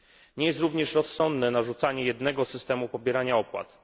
Nie jest również rozsądne narzucanie jednego systemu pobierania opłat.